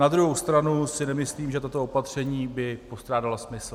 Na druhou stranu si nemyslím, že tato opatření by postrádala smysl.